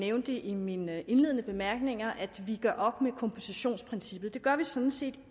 nævnte i mine indledende bemærkninger at vi gør op med kompositionsprincippet det gør vi sådan set